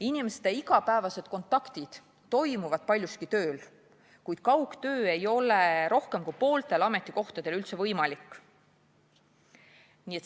Inimeste igapäevased kontaktid toimuvad paljuski tööl, kuid kaugtöö ei ole rohkem kui pooltel ametikohtadel üldse võimalik.